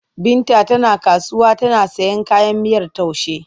Binta tana kasuwa tana sayan kayan miyar taushe.